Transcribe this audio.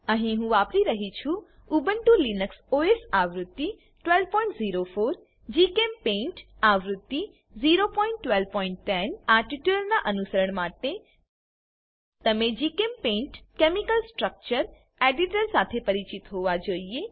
અહી હું વાપરી રહ્યી છું ઉબુન્ટુ લિનક્સ ઓએસ આવૃત્તિ 1204 જીચેમ્પેઇન્ટ આવૃત્તિ 01210 આ ટ્યુટોરીયલનાં અનુસરણ માટે તમે જીચેમ્પેઇન્ટ કેમિકલ સ્ટ્રક્ચર એડિટર સાથે પરિચિત હોવા જોઈએ